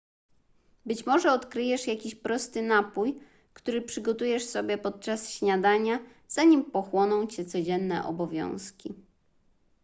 być może odkryjesz jakiś prosty napój który przygotujesz sobie podczas śniadania zanim pochłoną cię codzienne obowiązki